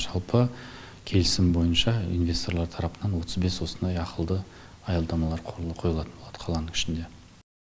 жалпы келісім бойынша инвесторлар тарапынан отыз бес осындай ақылды аялдамалар қойылатын болады қаланың ішінде